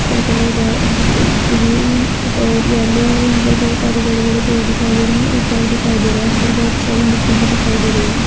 Sky colour red green और yellow है यहाँ पर बहुत सारे बड़े-बड़े पेड़ दिखाई दे रहे हैं एक घर दिखाई दे रहा है यहाँ पर बहुत सारी मिट्टी भी दिखाई दे रही है।